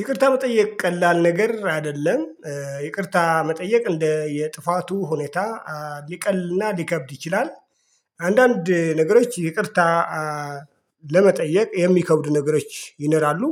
ይቅርታ መጠየቅ ቀላል ነገር አይደለም ይቅርታ መጠየቅ እንደየ ጥፋቱ ሁኔታ ሊቀልና ሊከብድ ይችላል። አንዳንድ ነገሮች ይቅርታ ለመጠየቅ የሚከብዱ ነገሮች ይኖራሉ።